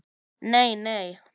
Nei nei.